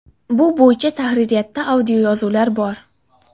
(Bu bo‘yicha tahririyatda audioyozuvlar bor).